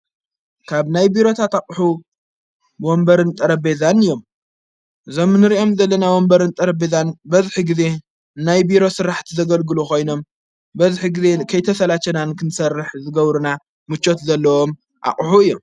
ካብ ናይ ቢሮታ ታቕሑ ወንበርን ጠረቤዛን እዮም ዘምንርእኦም ዘለና ወምበርን ጠረቤዛን በዝኂ ጊዜ ናይ ቢሮ ሥራሕቲ ዘገልግሉ ኾይኖም በዝኂ ጊዜ ከይተሠላተናን ክንሠርሕ ዝገብርና ምቾት ዘለዎም ኣቕሑ እዮም።